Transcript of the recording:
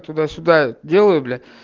туда-сюда делаю блядь